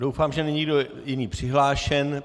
Doufám, že není nikdo jiný přihlášen.